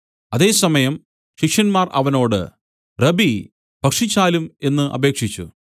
അതേസമയം ശിഷ്യന്മാർ അവനോട് റബ്ബീ ഭക്ഷിച്ചാലും എന്നു അപേക്ഷിച്ചു